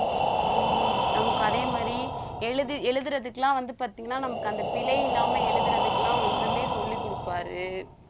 ஹம் நமக்கு அதே மாதிரி எழுதி~ எழுதுறதுக்கெல்லாம் வந்து பாத்தீங்கன்னா நமக்கு அந்த பிழை இல்லாம எழுதுறதுக்கு எல்லாம் வந்துமே சொல்லிக் கொடுப்பாரு